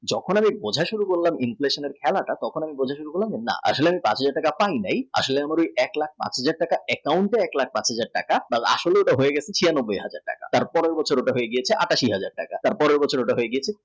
যখন বুঝে শুরু করলাম inflation হেনাটা আসলে এক লাখ টাকা কম নেই আসলে এক লাখ পাঁচ হাজার টাকা account এ এক লাখ পাঁচ হাজার টাকা আসলে হয়ে গেছে চুরানব্যয় হাজার টাকা তার পর হয়ে গেছে আটাশী হাজার টাকা তার পর